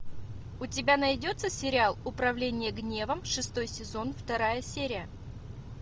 у тебя найдется сериал управление гневом шестой сезон вторая серия